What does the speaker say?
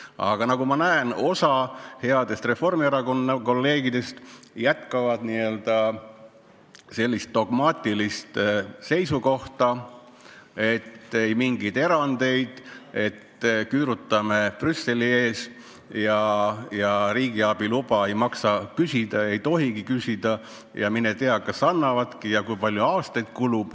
Aga nagu ma näen, osa häid reformierakondlastest kolleege hoiab dogmaatilist seisukohta, et ei mingeid erandeid, küürutame Brüsseli ees ja riigiabi luba ei maksa küsida, ei tohigi küsida, mine tea, kas annavadki ja kui palju aastaid kulub.